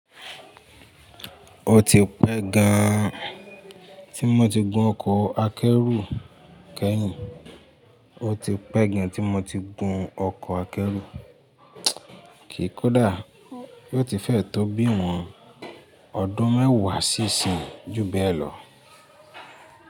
Ó ti pẹ́ gan tí mo ti gun ọkọ̀ akẹ́rù kẹ́yìn, ó ti pẹ́ gan tí mo ti gun ọkọ̀ akẹ́rù, kì í kú dàá, yóò ti fẹ́ tó bí ìwọ̀n ọdún mẹ́wàá sí ìsinyi jú bẹ́ẹ̀ lọ.